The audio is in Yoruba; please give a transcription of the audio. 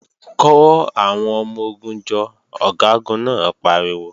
Kò àwọn ọmọ-ogun jọ, Ọ̀gágun náà pariwo!